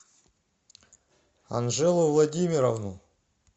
анжелу владимировну